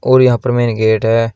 और यहां पर मेन गेट है।